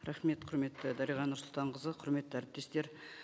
рахмет құрметті дариға нұрсұлтанқызы құрметті әріптестер